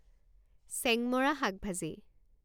চেংমৰা শাক ভাজি